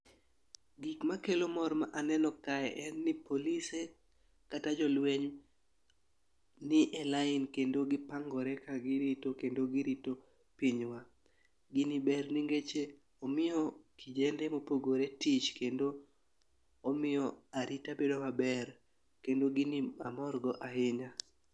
Gik makelo mor ma aneno kae en ni polise kata jolweny nie lain kendo gipangore ka girito kendo girito pinywa. Gini ber nikech oiyo kijende mopogore tich kendo omiyo arita bedo maber kendo gini amor go ahinya.